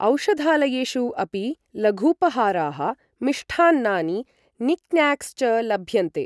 औषधालयेषु अपि लघूपहाराः, मिष्टान्नानि, निक्न्याक्स् च लभ्यन्ते।